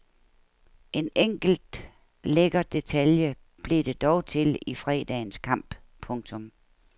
En enkelt lækker detalje blev det dog til i fredagens kamp. punktum